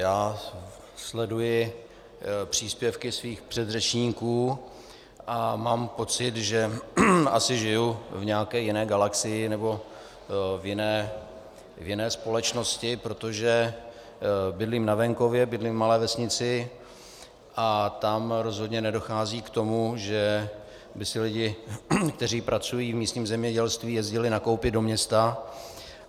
Já sleduji příspěvky svých předřečníků a mám pocit, že asi žiju v nějaké jiné galaxii, nebo v jiné společnosti, protože bydlím na venkově, bydlím v malé vesnici a tam rozhodně nedochází k tomu, že by si lidé, kteří pracují v místním zemědělství, jezdili nakoupit do města.